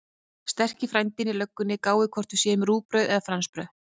Sterki frændinn í löggunni gáir hvort við séum rúgbrauð eða fransbrauð.